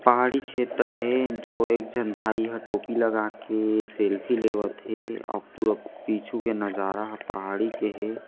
पहाड़ी क्षेत्र हे जो एक जन भाई ह टोपी लगा के सेल्फी लेवत हे अऊ पूरा पीछू के नजारा पहाड़ी के हे।